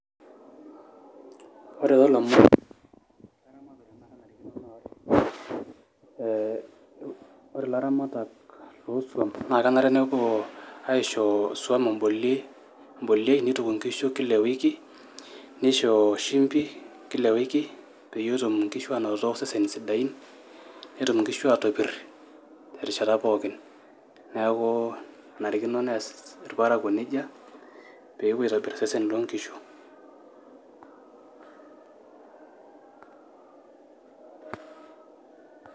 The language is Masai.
ore toolomon leramatare naa, ore ilaramatak loosuam naa kenare nepuo, aishoo isuam imbolioei, neituku inkishu Kila ewiki, nisho shimpi,,Kila ewiki, pee etum inkishu aanoto iseseni sidain ,netum inkishu aatopir terishata pookin. neeku enarikino nees irparakuk nejia, pee epuo aitopir iseseni loo nkishu.